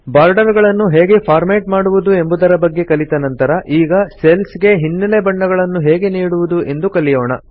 border ಗಳನ್ನು ಹೇಗೆ format ಮಾಡುವುದು ಎಂಬುದರ ಬಗ್ಗೆ ಕಲಿತ ನಂತರ ಈಗ ಸೆಲ್ಸ್ ಗೆ ಹಿನ್ನೆಲೆ ಬಣ್ಣಗಳನ್ನು ಹೇಗೆ ನೀಡುವುದು ಎಂದು ಕಲಿಯೋಣ